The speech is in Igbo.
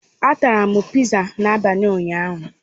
A tara m pizza n'abalị ụnyaahụ.